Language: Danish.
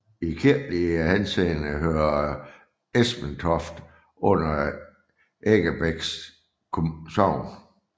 I kirkelig henseende hører Esperstoft under Eggebæk Sogn